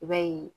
I b'a ye